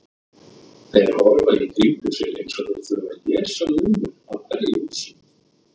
Þeir horfa í kringum sig eins og þeir þurfi að lesa númerin á hverju húsi.